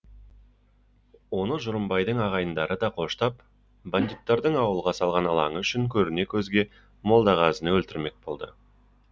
оны жұрымбайдың ағайындары да қоштап бандиттардың ауылға салған ылаңы үшін көріне көзге молдағазыны өлтірмек болды